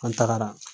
An tagara